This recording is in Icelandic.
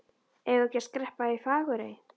Eigum við ekki að skreppa í Fagurey?